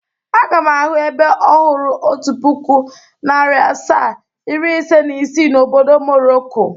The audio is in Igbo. Aga m ahụ ebe ọhụrụ otu puku, nari asaa, iri, ise na isii na obodo Morocco.